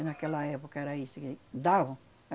E naquela época era isso que davam.